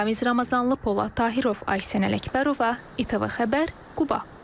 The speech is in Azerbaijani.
Ramiz Ramazanlı, Polad Tahirov, Aysən Ələkbərova, ATV xəbər, Quba.